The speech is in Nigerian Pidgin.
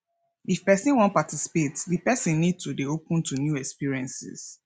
if person wan participate di person need to dey open to new experiences